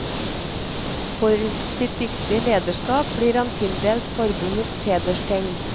For sitt dyktige lederskap ble han tildelt forbundets hederstegn.